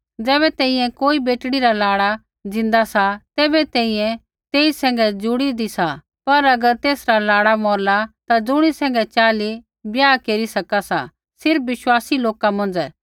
ज़ैबै तैंईंयैं कोई बेटड़ी रा लाड़ा ज़िन्दा सा तैबै तैंईंयैं तेई सैंघै जुड़ी हुन्दी सा पर अगर तेसरा लाड़ा मौरला ता ज़ुणी सैंघै चाहली ब्याह केरी सका सा सिर्फ़ विश्वासी लोका मौंझ़ै